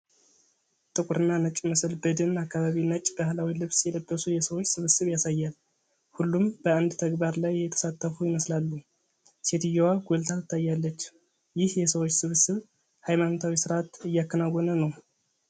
ጥቁርና ነጭ ምስል በደን አካባቢ ነጭ ባህላዊ ልብስ የለበሱ የሰዎች ስብስብ ያሳያል። ሁሉም በአንድ ተግባር ላይ የተሳተፉ ይመስላሉ። ሴትዮዋ ጎልታ ትታያለች። ይህ የሰዎች ስብስብ ሃይማኖታዊ ሥርዓት እያከናወነ ነው?